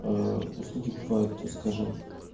а услуги бывают скажем